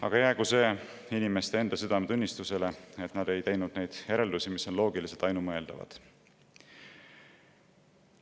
Aga jäägu see inimeste enda südametunnistusele, et nad ei ole teinud järeldusi, mis on loogiliselt ainumõeldavad.